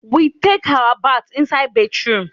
We take our bath inside bathroom